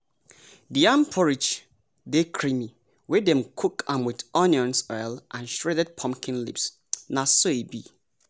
di yam porridge dey creamy wey dem cook am with onions oil and shredded pumpkin leaves na so e be